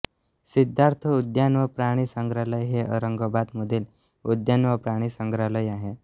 सिद्धार्थ उद्यान व प्राणी संग्रहालय हे औरंगाबाद मधील उद्यान व प्राणी संग्रहालय आहे